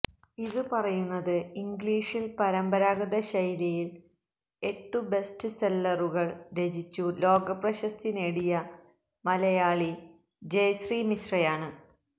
ഇതു പറയുന്നത് ഇംഗ്ളീഷില് പരമ്പാരാഗത ശൈലിയില് എട്ടു ബെസ്ററ് സെല്ലറുകള് രചിച്ചു ലോകപ്രശസ്തി നേടിയ മലയാളി ജയശ്രീ മിശ്രയാണ്